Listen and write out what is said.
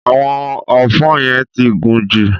Àwọn ọfọ́ yẹn ti gùn jù.